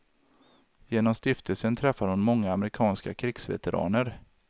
Genom stiftelsen träffar hon många amerikanska krigsveteraner.